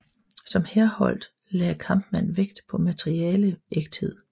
Som Herholdt lagde Kampmann vægt på materialeægthed